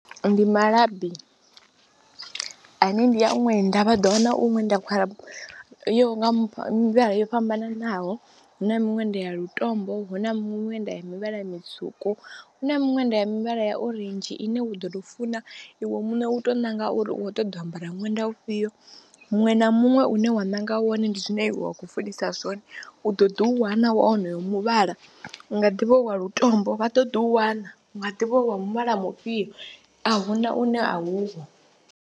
Ndi malabi ane ndi ya ṅwenda vha ḓo wana iṅwe nḓila yo yaho nga mivhala yo fhambananaho, hu na miṅwenda ya lutombo, hu na miṅwenda ya muvhala mutswuku, hu na miṅwenda ya mivhala ya orange ine wa ḓo tou funa iwe muṋe u tou ṋanga uri u khou ṱoḓa u ambara ṅwenda ufhio, muṅwe na muṅwe une wa ṋanga wone ndi zwine wa khou funesa zwone. U ḓo ḓi u wana wa onoyo muvhala u nga ḓivha u wa lutombo vha ḓo ḓi u wana, u nga ḓi vha u wa mivhala mufhio a hu na une a uho.